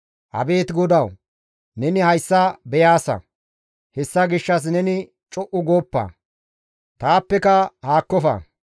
Abeet GODAWU! Neni hayssa beyaasa; hessa gishshas neni co7u gooppa; taappeka haakkofa.